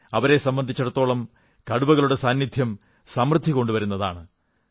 അവരെ സംബന്ധിച്ചിടത്തോളം കടുവകളുടെ സാന്നിധ്യം സമൃദ്ധി കൊണ്ടുവരുന്നതാണ്